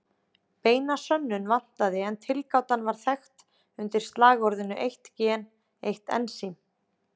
Beina sönnun vantaði en tilgátan var þekkt undir slagorðinu eitt gen, eitt ensím!